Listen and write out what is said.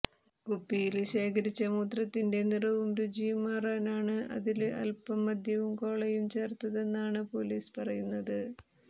കുപ്പിയില് ശേഖരിച്ച മൂത്രത്തിന്റെ നിറവും രുചിയും മാറാനാണ് അതില് അല്പം മദ്യവും കോളയും ചേര്ത്തതെന്നാണ് പൊലീസ് പറയുന്നത്